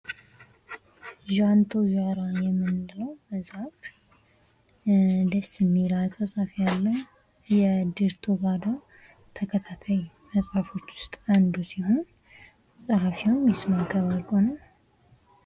ዣንቶዣራ የምንለው መጽሐፍ ደስ የሚል አጻጻፍ ያለው የዴርቶጋዳ ተከታታይ መጽሐፎች ውስጥ አንዱ ሲሆን ፀሐፊው ይስማእከ ወርቁ ነው።